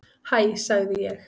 Hæ sagði ég.